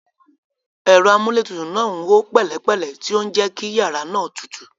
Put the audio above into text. Ẹ̀rọ amúlétutù náà ń hó pẹ̀lẹ́pẹ̀lẹ́, tí ó ń jẹ́ kí yàrá náà tutù.